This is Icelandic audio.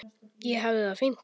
Ég hafði það fínt.